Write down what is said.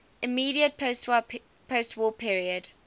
immediate postwar period